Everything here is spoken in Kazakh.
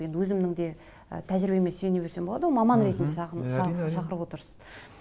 енді өзімнің де ы тәжірбиеме сүйене берсем болады ғой маман ретінде шақырып отырсыз